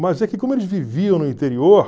Mas é que como eles viviam no interior...